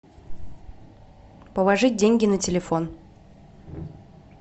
положить деньги на телефон